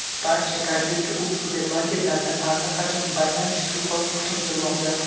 Barcha Korzinka.uz supermarketlarida allaqachon bayram shukuhi hukm surmoqda.